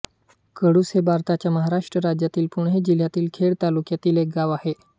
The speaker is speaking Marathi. कडुस हे भारताच्या महाराष्ट्र राज्यातील पुणे जिल्ह्यातील खेड तालुक्यातील एक गाव आहे